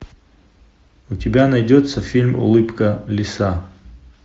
у тебя найдется фильм улыбка лиса